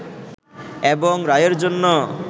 এবং রায়ের জন্য